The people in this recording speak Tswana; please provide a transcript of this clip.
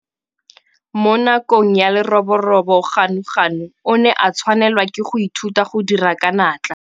Mo nakong ya leroborobo Ganuganu o ne a tshwanela ke go ithuta go dira ka natla.